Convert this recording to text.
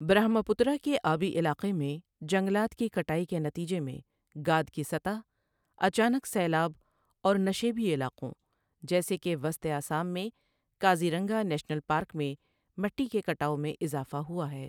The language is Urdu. برہما پترا کے آبی علاقے میں جنگلات کی کٹائی کے نتیجے میں گاد کی سطح، اچانک سیلاب اور نشیبی علاقوں جیسے کہ وسط آسام میں کازیرانگا نیشنل پارک میں مٹی کے کٹاؤ میں اضافہ ہوا ہے ۔